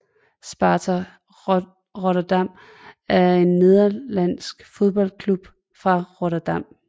Sparta Rotterdam er en nederlandsk fodboldklub fra Rotterdam